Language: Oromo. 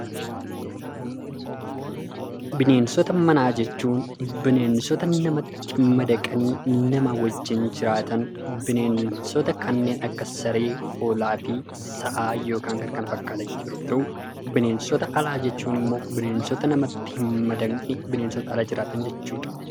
Bineensota manaa jechuun bineensota namatti madaqanii nama wajjin jiraatan bineensota kanneen akka saree, hoolaa fi sa'aa yookaan kan kana fakkaatan yeroo ta'u; bineensota alaa jechuun immoo bineensota namatti hin madaqne, bineensota ala jiraatan jechuu dha.